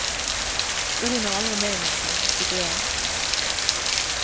Jag hinner aldrig med någonting, tycker jag.